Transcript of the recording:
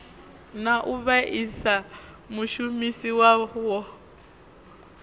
na u vhaisa mushumisi wawo